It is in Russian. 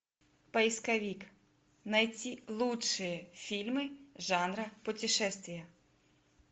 поисковик найти лучшие фильмы жанра путешествия